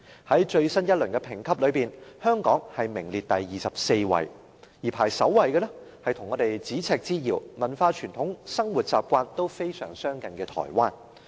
在最新一輪評級之中，香港名列第二十四位，而排名首位的是跟我們咫尺之遙、文化傳統和生活習慣均非常相近的台灣。